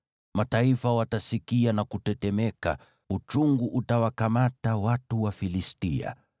Mataifa watasikia na kutetemeka, uchungu utawakamata watu wa Ufilisti.